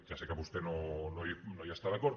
ja sé que vostè no hi està d’acord